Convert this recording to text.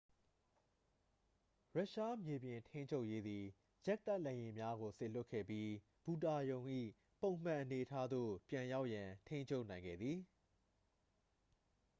ရုရှားမြေပြင်ထိန်းချုပ်ရေးသည် ဂျက်တိုက်လေယာဉ်များကို စေလွတ်ခဲ့ပြီး ဘူတာရုံ၏ ပုံမှန်အနေအထားသို့ ပြန်ရောက်ရန် ထိန်းချုပ်နိုင်ခဲ့သည်